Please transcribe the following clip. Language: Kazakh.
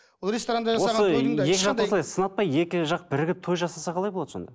екі жақты осылай сынатпай екі жақ бірігіп той жасаса қалай болады сонда